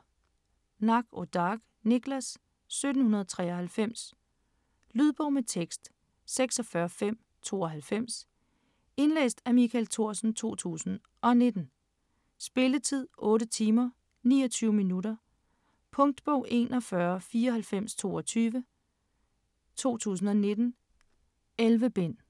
Natt och Dag, Niklas: 1793 Lydbog med tekst 46592 Indlæst af Michael Thorsen, 2019. Spilletid: 8 timer, 29 minutter. Punktbog 419422 2019. 11 bind.